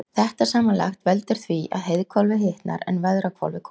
Þetta samanlagt veldur því að heiðhvolfið hitnar en veðrahvolfið kólnar.